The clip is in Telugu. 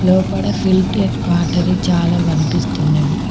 లోపల ఫిల్టర్ వాటర్ చాలా కనిపిస్తున్నది.